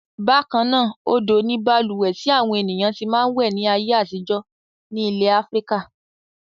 Bákan náà, odò ni balùwẹ̀ tí àwọn ènìyàn ti máa ń wẹ̀ ní ayé àtijọ́ ní ilẹ̀ Áfíríkà.